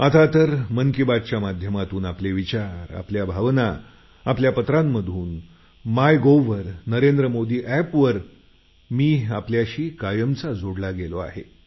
आता तर मन की बातच्या माध्यमातून आपले विचार आपल्या भावना पत्रांमधून माय गव्ह वर नरेंद्र मोदी एपवर मी आपल्याशी कायमचा जोडला गेलो आहे